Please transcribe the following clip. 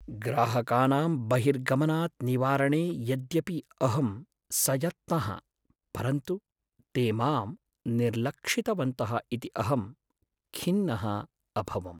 ग्राहकानां बहिर्गमनात् निवारणे यद्यपि अहं सयत्नः परन्तु ते मां निर्लक्षितवन्तः इति अहं खिन्नः अभवम्।